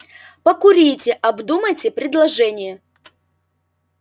покурите обдумайте предложение